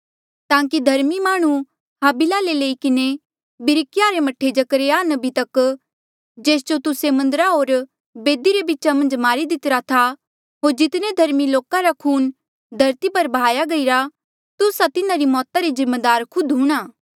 ताकि धर्मी माह्णुं हाबिला ले लई किन्हें बिरिक्याहा रे मह्ठे जकरयाह नबी तक जेस जो तुस्से मन्दरा होर बेदी रे बीचा मन्झ मारी दितिरा था होर जितने धर्मी लोका रा खून धरती पर बहाया गईरा तुस्सा तिन्हारी मौता रे जिम्मेदार खुद हूंणां